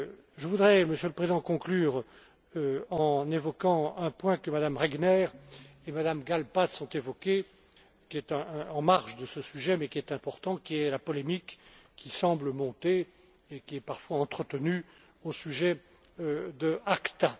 Je voudrais, Monsieur le Président, conclure en évoquant un point que Mme Regner et Mme Gáll Pelcz ont évoqué, qui est en marge de ce sujet mais qui est important la polémique qui semble monter et qui est parfois entretenue au sujet d'ACTA.